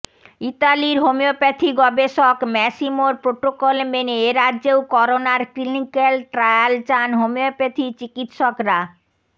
ইতালির হোমিওপ্যাথি গবেষক ম্যাসিমোর প্রোটোকল মেনে এরাজ্যেও করোনার ক্লিনিক্যাল ট্রায়াল চান হোমিওপ্যাথি চিকিত্সকরা